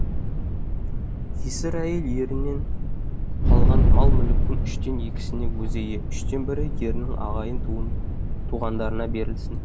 жесір әйел ерінен қалған мал мүліктің үштен екісіне өзі ие үштен бірі ерінің ағайын туғандарына берілсін